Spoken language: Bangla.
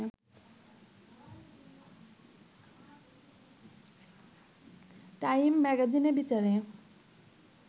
টাইম ম্যাগাজিনের বিচারে